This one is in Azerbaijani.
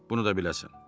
Bunu da biləsən.